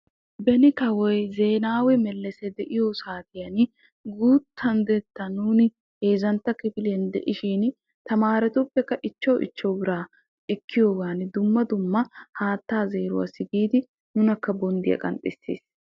Beni kawoy de'iyo saatiyan guutta naatakka biraa peerissiyoogan haatta zeeranawu nunakka bonddiya qanxxisiis.